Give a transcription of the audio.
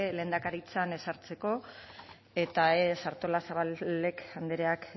lehendakaritzan ezartzeko eta ez artolazabal andreak